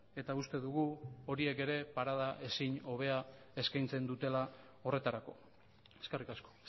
eta uste dugu horiek ere parada ezin hobea eskaintzen dutela horretarako eskerrik asko